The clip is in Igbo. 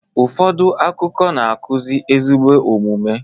Ụfọdụ akụkọ na-akuzi ezigbo omume